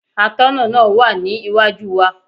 Atọ́nà náà wà ní iwájú wa.